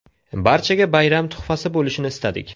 Barchaga bayram tuhfasi bo‘lishini istadik.